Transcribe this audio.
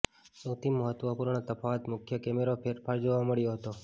સૌથી મહત્વપૂર્ણ તફાવત મુખ્ય કૅમેરા ફેરફાર જોવા મળ્યો હતો